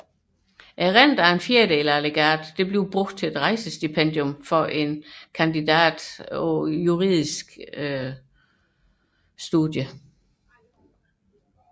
Renten af en fjerdedel af legatet anvendes til rejsestipendium for en juridisk kandidat